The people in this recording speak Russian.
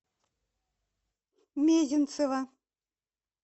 мезенцева